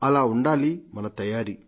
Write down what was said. అలా ఉండాలి మన తయారీ